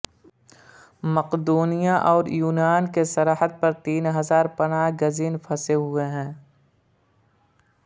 مقدونیہ اور یونان کی سرحد پر تین ہزار پناہ گزین پھنسے ہوئے ہیں